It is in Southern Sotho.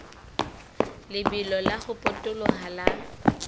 lebelo la ho potoloha ha